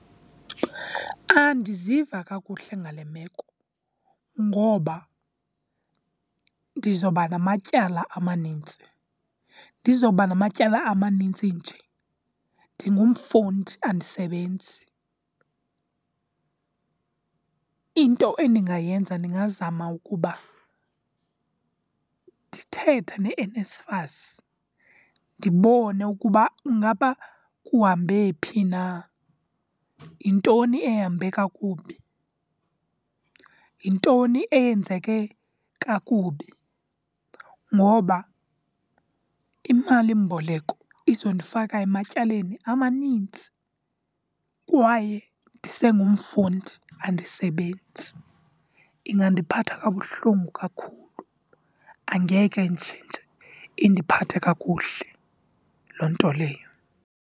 Andiziva kakuhle ngale meko ngoba ndizawuba namatyala amanintsi. Ndizawuba namatyala amanintsi nje ndingumfundi, andisebenzi. Into endingayenza ndingazama ukuba ndithethe neNSFAS ndibone ukuba ngaba kuhambe phi na, yintoni ehambe kakubi, yintoni eyenzeke kakubi. Ngoba imalimboleko izondifaka ematyaleni amanintsi, kwaye ndisengumfundi, andisebenzi. Ingandiphatha kabuhlungu kakhulu, angeke indiphathe kakuhle loo nto leyo.